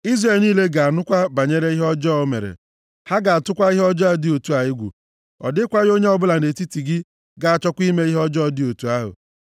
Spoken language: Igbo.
Izrel niile ga-anụkwa banyere ihe ọjọọ o mere, ha ga-atụkwa ihe ọjọọ dị otu a egwu, ọ dịkwaghị onye ọbụla nʼetiti gị ga-achọkwa ime ihe ọjọọ dị otu ahụ.